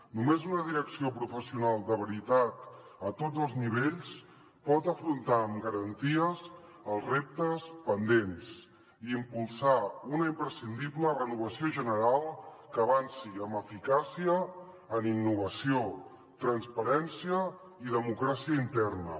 només una direcció professional de veritat a tots els nivells pot afrontar amb garanties els reptes pendents i impulsar una imprescindible renovació general que avanci amb eficàcia en innovació transparència i democràcia interna